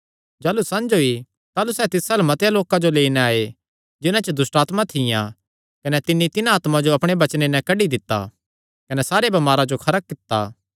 जाह़लू संझ होई ताह़लू सैह़ तिस अल्ल मतेआं लोकां जो लेई नैं आये जिन्हां च दुष्टआत्मां थियां कने तिन्नी तिन्हां आत्मा जो अपणे वचने नैं कड्डी दित्ता कने सारे बमारां जो खरा कित्ता